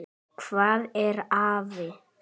Hvað er afi?